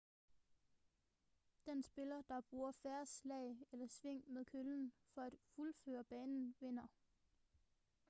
den spiller der bruger færrest slag eller sving med køllen for at fuldføre banen vinder